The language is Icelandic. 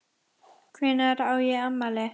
Hvenær á ég afmæli?